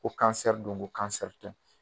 Ko don ko tɛ